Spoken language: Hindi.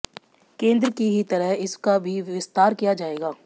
केंद्र की ही तरह इसका भी विस्तार किया जाएगा